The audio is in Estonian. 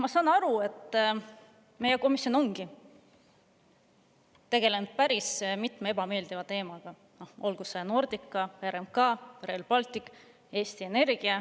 Ma saan aru, et meie komisjon ongi tegelenud päris mitme ebameeldiva teemaga, olgu Nordica, RMK, Rail Baltic või Eesti Energia.